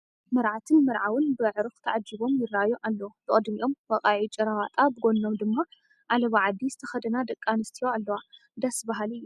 መርዓትን መርዓውን ብኣዕሩኽ ተዓጂቦም ይርአዩ ኣለዉ፡፡ ብቕድሚኦም ወቓዒ ጭራ ወጣ ብጐኖም ድማ ዓለባ ዓዲ ዝተኸደና ደቂ ኣንስቲ ኣለዋ፡፡ ደስ በሃሊ እዩ፡፡